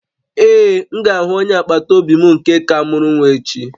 Ee, m ga-ahụ onye agbata obi m nke ka mụrụ nwa echi